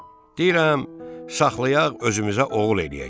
Deyirəm, saxlayaq özümüzə oğul eləyək.